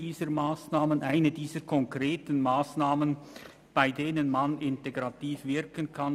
Hier ist eine dieser konkreten Massnahmen, bei denen man integrativ wirken kann.